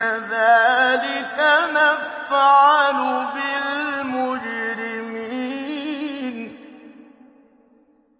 كَذَٰلِكَ نَفْعَلُ بِالْمُجْرِمِينَ